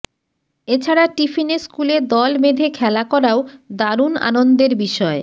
এছাড়া টিফিনে স্কুলে দলবেধে খেলা করাও দারুন আনন্দের বিষয়